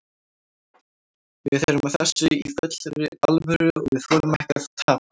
Við erum að þessu í fullri alvöru og við þolum ekki að tapa.